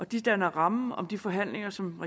de danner rammen om de forhandlinger som